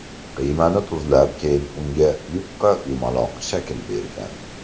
Qiymani tuzlab, keyin unga yupqa yumaloq shakl bergan.